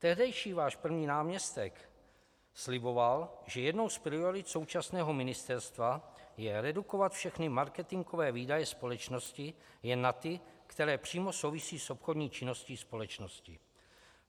Tehdejší váš první náměstek sliboval, že jednou z priorit současného ministerstva je redukovat všechny marketingové výdaje společnosti jen na ty, které přímo souvisí s obchodní činností společnosti.